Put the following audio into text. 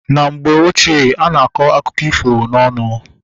Na mgbe ochie, ana akọ akụkọ ifo na ọnụ